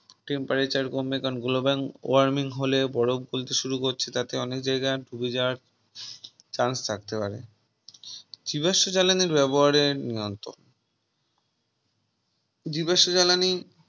Temperature কমবে কারণ Global warming হলে বরফ বলতে শুরু করছে তাতে অনেক জায়গায় ডুবে যাওয়ার chance থাকতে পারে জীবাশ্ম জ্বালানি ব্যবহারে নিয়ন্ত্রণ জীবাশ্ম জ্বালানি